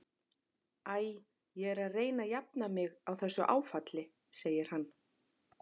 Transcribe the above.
Æ, ég er að reyna að jafna mig á þessu áfalli, segir hann.